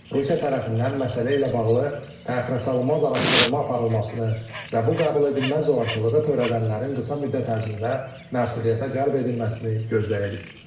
Rusiya tərəfindən məsələ ilə bağlı təxirəsalınmaz araşdırma aparılmasını və bu qəbul edilməz zorakılığı törədənlərin qısa müddət ərzində məsuliyyətə cəlb edilməsini gözləyirik.